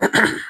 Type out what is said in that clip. O tɛ